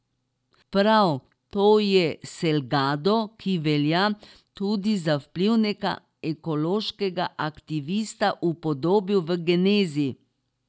Prav to je Selgado, ki velja tudi za vplivnega ekološkega aktivista, upodobil v Genezi.